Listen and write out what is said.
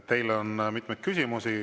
Teile on mitmeid küsimusi.